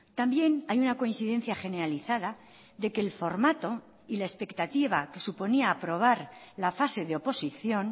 también hay una coincidencia generalizada de que el formato y la expectativa que suponía aprobar la fase de oposición